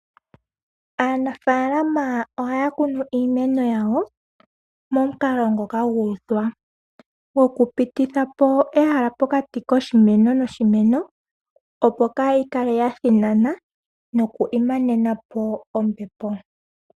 Aanafaalama ohaya kunu iimeno yawo mokukala ngoka gu uthwa goku pitithapo ehala pokati koshimeno noshimeno opo kayi kale ya thinana noku imanenapo ombepo.